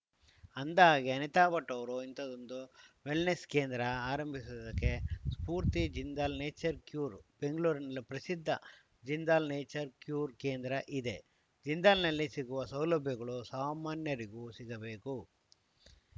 ಅಂದಾಹಗೆ ಅನಿತಾ ಭಟ್‌ ಅವರು ಇಂಥದ್ದೊಂದು ವೆಲ್‌ನೆಸ್‌ ಕೇಂದ್ರ ಆರಂಭಿಸುವುದಕ್ಕೆ ಸ್ಫೂರ್ತಿ ಜಿಂದಾಲ್‌ ನೇಚರ್‌ ಕ್ಯೂರ್‌ ಬೆಂಗಳೂರಿನಲ್ಲೇ ಪ್ರಸಿದ್ಧ ಜಿಂದಾಲ್‌ ನೇಚರ್‌ ಕ್ಯೂರ್‌ ಕೇಂದ್ರ ಇದೆ ಜಿಂದಾನ್‌ನಲ್ಲಿ ಸಿಗುವ ಸೌಲಭ್ಯಗಳು ಸಾಮಾನ್ಯರಿಗೂ ಸಿಗಬೇಕು